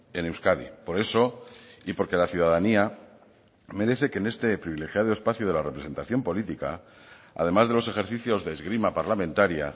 en euskadi por eso y porque la ciudadanía merece que en este privilegiado espacio de la representación política además de los ejercicios de esgrima parlamentaria